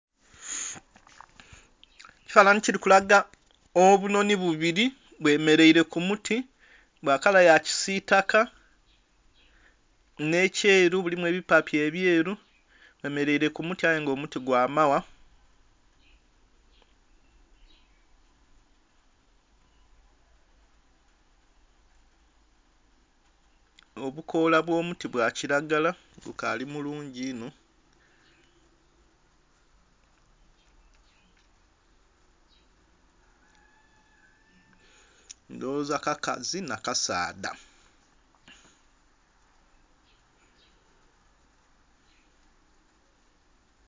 Ekifamhanhi kirikulaga obunhonhi bubiri bwemeraire kumuti bwakala yakisitaka n'ekyeru mulimu ebipyapya ebyeru bwemeraire kumuti aye nga omuti gwamagha obukola obwomuti bwakiragala gukali mulungi inho ndhowoza kakazi nakasaadha.